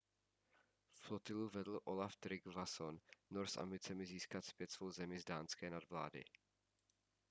flotilu vedl olaf trygvasson nor s ambicemi získat zpět svou zemi z dánské nadvlády